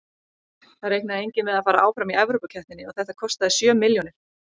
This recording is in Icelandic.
Það reiknaði enginn með að fara áfram í Evrópukeppninni og þetta kostaði sjö milljónir.